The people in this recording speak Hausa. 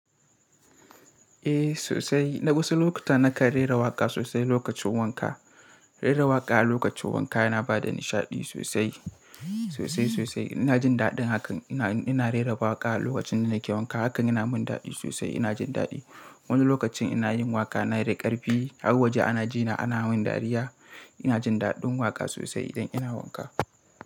Eh sosai, na wasu lokuta na kan rera waƙa sosai lokacin wanka. Rera waƙa a lokacin wanka yana ba da nishaɗi sosai, sosai sosai. Ina jin daɗin hakan, ina rera waƙa a lokacin da nake wanka. Hakan yana mun daɗi sosai. Ina jin daɗi. Wani lokacin ina yin waka na da ƙarfi har waje ana jina ana min dariya. Ina jin daɗin waƙa sosai idan ina wanka.